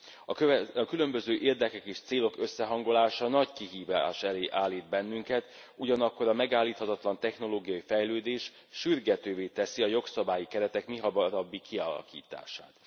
A különböző érdekek és célok összehangolása nagy kihívás elé állít bennünket, ugyanakkor a megállíthatatlan technológiai fejlődés sürgetővé teszi a jogszabályi keretek mihamarabbi kialakítását.